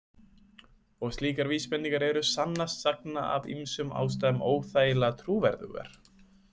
Og slíkar vísbendingar eru sannast sagna af ýmsum ástæðum óþægilega trúverðugar.